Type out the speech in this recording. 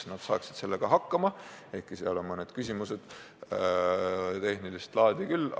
Nad saaksid sellega hakkama, ehkki on ka mõned tehnilist laadi küsimused.